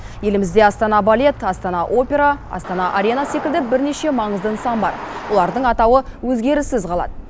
елімізде астана балет астана опера астана арена секілді бірнеше маңызды нысан бар олардың атауы өзгеріссіз қалады